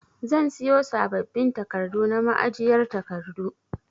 Zan siyo sabbabin takardu na ma'ajiyar takardu.